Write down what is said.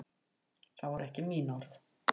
Það voru ekki mín orð